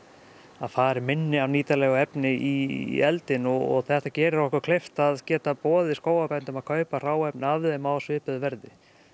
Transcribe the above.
það fari minna af nýtanlegu efni í eldinn og þetta gerir okkur kleift að geta boðið skógarbændum að kaupa hráefni af þeim á svipuðu verði